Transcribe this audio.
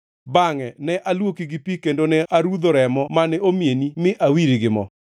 “ ‘Bangʼe ne aluoki gi pi kendo ne arudho remo mane omieni mi awiri gi mo.